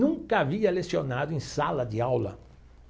nunca havia lecionado em sala de aula.